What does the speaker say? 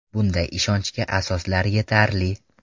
Bunday ishonchga asoslar yetarli.